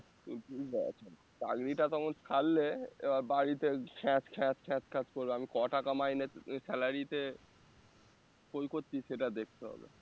চাকরিটা তো আমি ছাড়লে এবার বাড়িতে খ্যাঁচ খ্যাঁচ খ্যাঁচ খ্যাঁচখ্যাঁচ করবে আমি ক টাকা মাইনে salary তে করছি সেটা দেখতে হবে